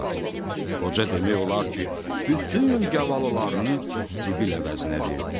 Qoca demək olar ki, bütün gavalılarını zibil əvəzinə verdi.